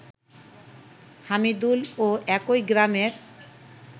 হামিদুল ও একই গ্রামের